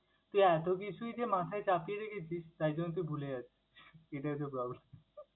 তুই এত কিছুই যে মাথায় চাপিয়ে রেখেছিস তাই জন্য তাই ভুলে যাচ্ছিস। এটাও একটা problem ।